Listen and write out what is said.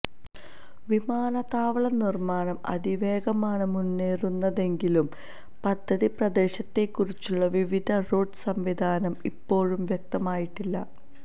വിമാനത്താവള നിർമ്മാണം അതിവേഗമാണ് മുന്നേറുന്നതെങ്കിലും പദ്ധതി പ്രദേശത്തേക്കുള്ള വിവിധ റോഡ് സംവിധാനം ഇപ്പോഴും വ്യക്തമായിട്ടില്ല